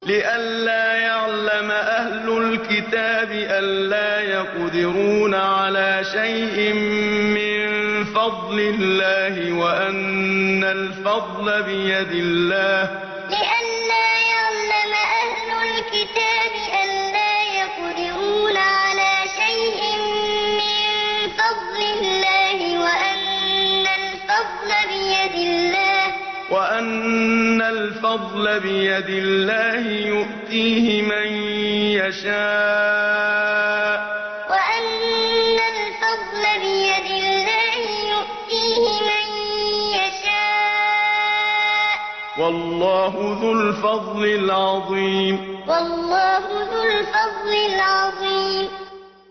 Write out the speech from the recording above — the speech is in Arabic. لِّئَلَّا يَعْلَمَ أَهْلُ الْكِتَابِ أَلَّا يَقْدِرُونَ عَلَىٰ شَيْءٍ مِّن فَضْلِ اللَّهِ ۙ وَأَنَّ الْفَضْلَ بِيَدِ اللَّهِ يُؤْتِيهِ مَن يَشَاءُ ۚ وَاللَّهُ ذُو الْفَضْلِ الْعَظِيمِ لِّئَلَّا يَعْلَمَ أَهْلُ الْكِتَابِ أَلَّا يَقْدِرُونَ عَلَىٰ شَيْءٍ مِّن فَضْلِ اللَّهِ ۙ وَأَنَّ الْفَضْلَ بِيَدِ اللَّهِ يُؤْتِيهِ مَن يَشَاءُ ۚ وَاللَّهُ ذُو الْفَضْلِ الْعَظِيمِ